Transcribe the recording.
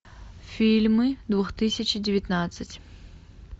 фильмы две тысячи девятнадцать